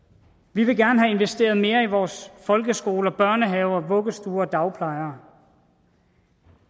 vi vil gerne have investeret mere i vores folkeskoler børnehaver vuggestuer og dagplejen